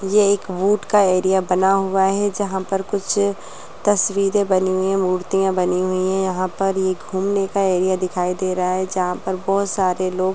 ये एक वुड का एरिया बना हुआ है जहाँ पर कुछ तस्वीरें बनी हुई हैंमुर्तियाँ बनी हुई है यहाँ पर एक घूमने का एरिया दिखाई दे रहा है जहाँ पर बहुत सारे लोग--